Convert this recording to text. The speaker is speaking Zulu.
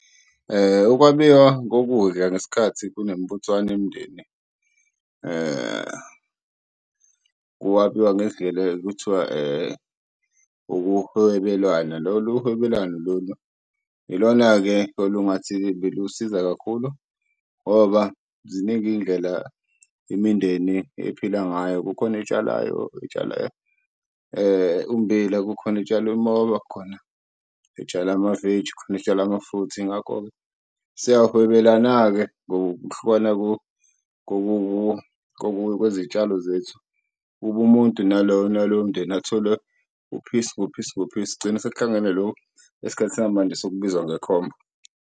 Ukwabiwa kokudla ngesikhathi kunemibuthano yemindeni kwabiwa ngendlela ekuthiwa ukuhwebelana. Lolu hwebelano lolu ilona-ke olungathi belusiza kakhulu ngoba ziningi iy'ndlela imindeni ephila ngayo kukhona etshalayo, etshala ummbila kukhona etshala umoba khona etshala amaveji khona etshala amafruthi. Yingakho-ke siyahwebelana-ke ngokuhlukana kwezitshalo zethu kube umuntu nalowo nalowo mndeni athole u-piece ngo-piece ngo-piece, kugcine sekuhlangana lokhu esikhathini sangamanje sokubizwa ngekhombo.